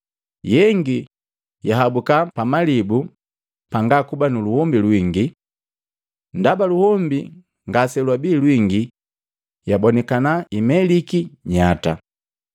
Yengi yahabuka pamalibu pangakuba nuluombi lwingi. Ndaba luhombi ngase lwabii lwinge yabonikana imeliki nyata.